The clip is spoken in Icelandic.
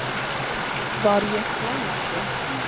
Var ég hlæjandi?